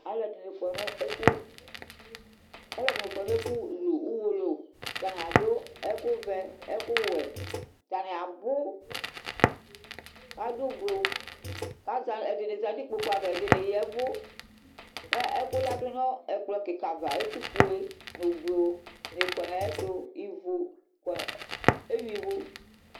Alʋɛdini kɔnʋ ɛfʋlʋ Ʋwolowʋ Atani adʋ ɛkʋvɛ, ɛkʋwɛ, atani abʋ, adʋ ʋblʋ kʋ ɛdini zanʋ ikpokʋ ava ɛdini ya ɛvʋ, kʋ ɛkʋ ladʋnʋ ɛkplɔ kika ava, ɛkʋfue, ʋblʋ ni kɔnʋ ayʋ ɛtʋ, ewuia ivʋ